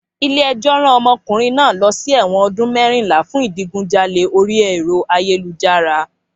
Ilé ẹjọ́ rán omokunrin náà lọ sí ẹ̀wọ̀n ọdún mẹ́rìnlá fún ìdigunjalè orí ẹ̀rọ ayélujára